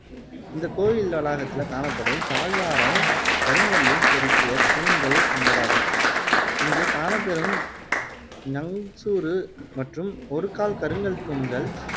இந்த கோவில் வளாகத்தில காணப்படும் தாழ்வாரம் கருங்கல்லில் செதுக்கிய தூண்கள் கொண்டதாகும் இங்கே காணப்பெறும் நங்சுரு மற்றும் ஒரு கால் கருங்கல் தூண்கள்